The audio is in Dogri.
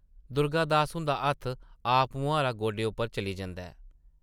दुर्गा दास हुंदा हत्थ आपमुहारा गोडे उप्पर चली जंदा ऐ ।